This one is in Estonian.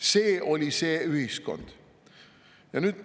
See oli see ühiskond.